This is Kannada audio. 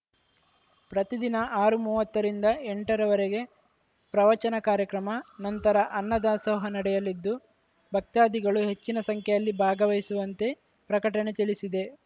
ಪ್ರತಿದಿನ ಆರು ಮೂವತ್ತರಿಂದ ಎಂಟರವರೆಗೆ ಪ್ರವಚನ ಕಾರ್ಯಕ್ರಮ ನಂತರ ಅನ್ನದಾಸೋಹ ನಡೆಯಲಿದ್ದು ಭಕ್ತಾದಿಗಳು ಹೆಚ್ಚಿನ ಸಂಖ್ಯೆಯಲ್ಲಿ ಭಾಗವಹಿಸುವಂತೆ ಪ್ರಕಟಣೆ ತಿಳಿಸಿದೆ